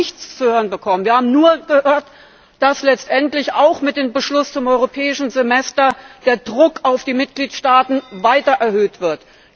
Wir haben dazu nichts zu hören bekommen. Wir haben nur gehört, dass letztendlich auch mit dem Beschluss zum Europäischen Semester der Druck auf die Mitgliedstaaten weiter erhöht wird.